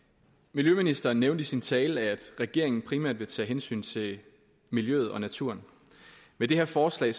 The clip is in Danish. miljøministeren nævnte i sin tale at regeringen primært vil tage hensyn til miljøet og naturen med det her forslag